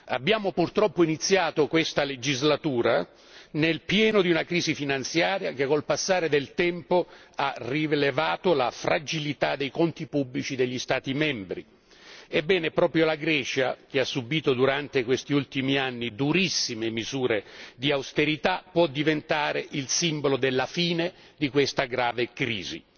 Abbiamo, purtroppo, iniziato questa legislatura nel pieno di una crisi finanziaria, che col passare del tempo ha rivelato la fragilità dei conti pubblici degli Stati membri. Ebbene, proprio la Grecia, che ha subito durante questi ultimi anni durissime misure di austerità, può diventare il simbolo della fine di questa grave crisi.